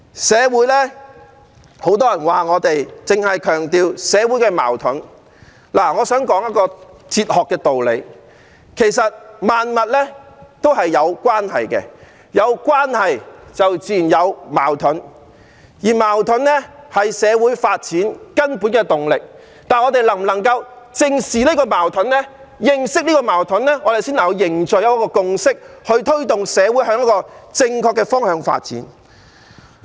社會很多人說我們只強調社會矛盾，我想說一個哲學道理，其實萬物皆有關係，有關係便自然有矛盾，而矛盾是社會發展根本的動力，但我們正視矛盾、認識矛盾，才能凝聚共識，推動社會向正確的方向發展。